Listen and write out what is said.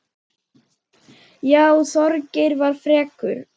Já, Þorgeir var frekur.